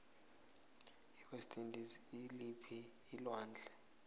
iwest indies ikuliphii alwandle